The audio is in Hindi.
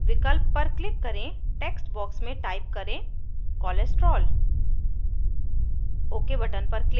get mol विकल्प पर click करें text box में type करें cholesterol